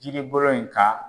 Jiribolo in kan